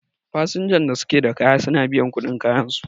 fasnjan da suke da kaya suna biyan kuɗin kayansu